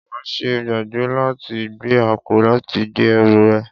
Máa ṣe gbàgbé láti gbé àpò láti gbé ẹrù rẹ